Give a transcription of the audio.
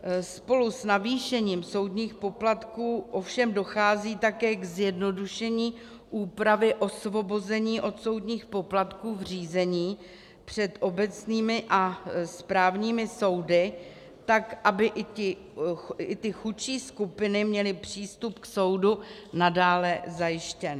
Spolu s navýšením soudních poplatků ovšem dochází také k zjednodušení úpravy osvobození od soudních poplatků v řízení před obecními a správními soudy tak, aby i ty chudší skupiny měly přístup k soudu nadále zajištěn.